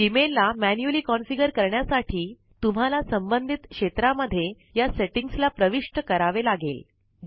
Gmail ला manually configure करण्यासाठी तुम्हाला संबंधित क्षेत्रा मध्ये या सेटिंग्स ला प्रविष्ट करावे लागेल